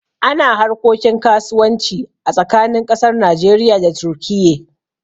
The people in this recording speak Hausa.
Ana harkokin kasuwanci a tsakanin ƙasar Najeriya da Turkiye